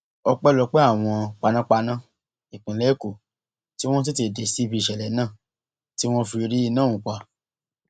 ọpẹlọpẹ àwọn panápaná ìpínlẹ èkó tí wọn tètè dé síbi ìṣẹlẹ náà tí wọn fi rí iná ọhún pa